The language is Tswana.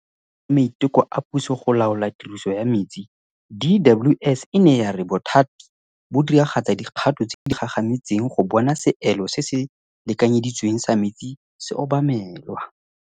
Jaaka karolo ya maiteko a puso go laola tiriso ya metsi, DWS e ne ya re bothati bo diragatsa dikgato tse di gagametseng go bona seelo se se lekanyeditsweng sa metsi se obamelwa.